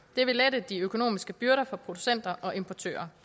det vil lette de økonomiske byrder for producenter og importører